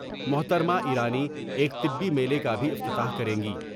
محترمہ ایرانی ایک طبی میلے کا بھی افتتاح کریں گی ۔